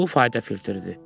Bu fayda filtridir.